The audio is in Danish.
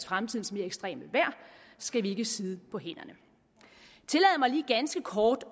fremtidens mere ekstreme vejr skal vi ikke sidde på hænderne tillad mig lige ganske kort